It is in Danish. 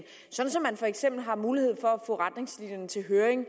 sådan at man for eksempel har mulighed for at få retningslinjerne til høring